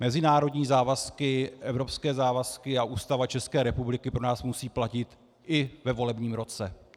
Mezinárodní závazky, evropské závazky a Ústava České republiky pro nás musí platit i ve volebním roce.